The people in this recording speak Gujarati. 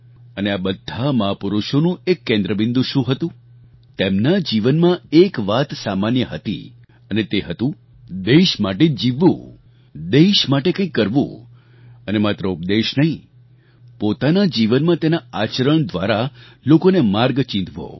અને આ બધા મહાપુરુષોનું એક કેન્દ્રબિંદુ શું હતું તેમના જીવનમાં એક વાત સામાન્ય હતી અને તે હતું દેશ માટે જીવવું દેશ માટે કંઈક કરવું અને માત્ર ઉપદેશ નહીં પોતાનાં જીવનમાં તેના આચરણ દ્વારા લોકોને માર્ગ ચીંધવો